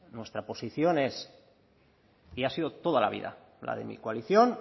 nuestra posición es y ha sido toda la vida la de mi coalición